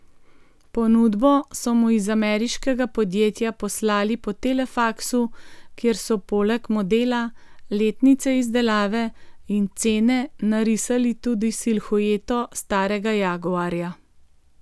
Ponudbo so mu iz ameriškega podjetja poslali po telefaksu, kjer so poleg modela, letnice izdelave in cene narisali tudi silhueto starega jaguarja.